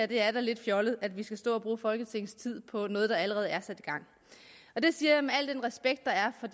det er da lidt fjollet at vi skal stå og bruge folketingets tid på noget der allerede er sat i gang det siger jeg med al den respekt der er for